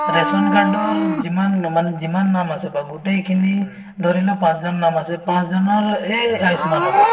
ration card যিমান যিমান নাম আছে বা গোটেইখিনি ধৰিলোৱা পাঁচজন নাম আছে সেই পাঁচজনৰে সেই আয়ুষ্মান হব